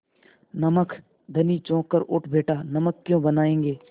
नमक धनी चौंक कर उठ बैठा नमक क्यों बनायेंगे